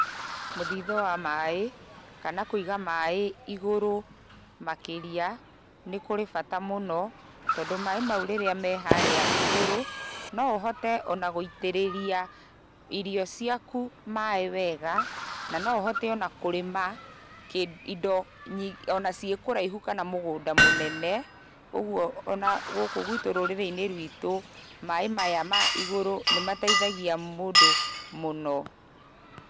Mũthithũ wa maĩ, kana kũiga maĩ igũrũ makĩria nĩkũrĩ bata mũno. Tondũ maĩ mau rĩrĩa me harĩa igũrũ, noũhote ona gũitĩrĩrĩa irio ciaku maĩ wega. Na noũhote ona kũrĩma kĩ, indo ona ciĩ kũraihu kana mũgũnda mũnene. Ũguo ona gũkũ gwitũ rũrĩ-inĩ rwitũ maĩ maya ma igũrũ nĩmateithagia mũndũ mũno.